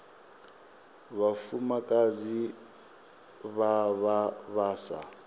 vhafumakadzi vha vha vha sa